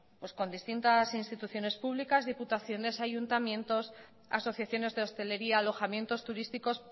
con distintas instituciones públicas diputaciones ayuntamientos asociaciones de hostelería alojamientos turísticos